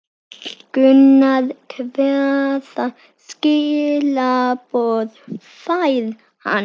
Gunnar: Hvaða skilaboð fær hann?